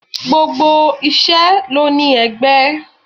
Gbogbo isẹ ló ní ẹgbẹ́.